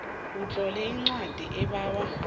utlole incwadi ebawa